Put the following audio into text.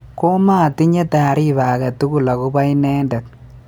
Komaatinye taariba agetugul akobo inendet